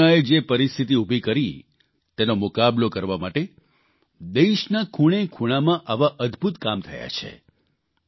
કોરોનાએ જે પરિસ્થિતિ ઉભી કરી તેનો મુકાબલો કરવા માટે દેશના ખૂણેખૂણામાં આવા અદભૂત કામ થયા છે